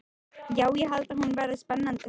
Já, ég held hún verði spennandi þessi.